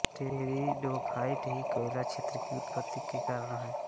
pteridophyta ही कोयला क्षेत्र की उत्पत्ति के कारण हैं